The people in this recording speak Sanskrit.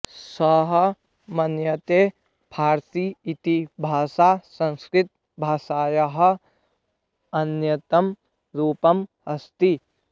सः मन्यते फारसी इति भाषा संस्कृतभाषायाः अन्यतमं रूपम् अस्ति